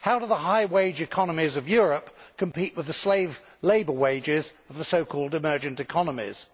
How do the high wage economies of Europe compete with the slave labour wages of the so called emergent economies'?